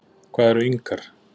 Hvað eru Inkar?